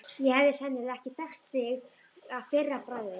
Ég hefði sennilega ekki þekkt þig að fyrra bragði.